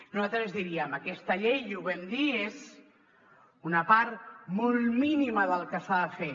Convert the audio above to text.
nosaltres diríem aquesta llei i ho vam dir és una part molt mínima del que s’ha de fer